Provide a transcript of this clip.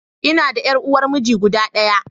Ina da ƴar uwar miji guda ɗaya.